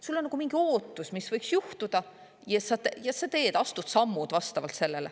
Sul on nagu mingi ootus, mis võiks juhtuda, ja sa astud sammud vastavalt sellele.